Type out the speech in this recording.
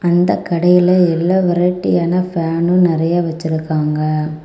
அந்த கடையில எல்லா வெரைட்டியான ஃபேனும் நெறைய வச்சிருக்காங்க.